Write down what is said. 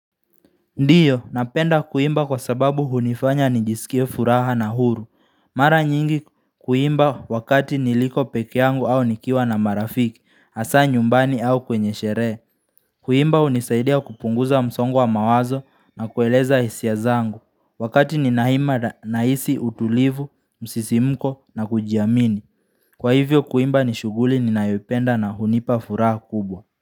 Ndiyo, napenda kuimba kwa sababu hunifanya nijisikie furaha na huru. Mara nyingi kuimba wakati niliko pekee yangu au nikiwa na marafiki, hasa nyumbani au kwenye sherehe. Kuimba hunisaidia kupunguza msongo wa mawazo na kueleza hisia zangu. Wakati ninaima na hisi utulivu, msisimuko na kujiamini. Kwa hivyo kuimba nishughuli ninayoipenda na hunipa furaha kubwa.